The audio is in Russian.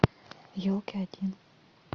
елки один